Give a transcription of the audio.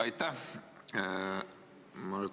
Aitäh!